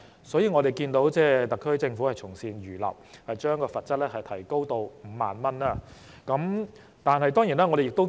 所以，我們看到特區政府從善如流，將罰則提高至5萬元。